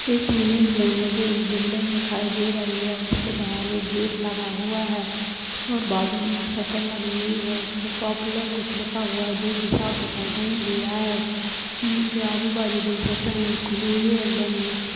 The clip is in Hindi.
इस इमेज में मुझे एक बिल्डिंग दिखाई दे रही है उसके बाहर एक गेट लगा हुआ है और बाजू में शटर लगी हुई है उसमें पॉपुलर कुछ लिखा हुआ है जो की साफ दिखाई नहीं दे रहा है बिल्डिंग के आजू-बाजू दो शटरे है एक खुली हुई है एक बंद है।